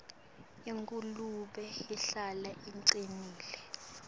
ingulube ihlala ingcolile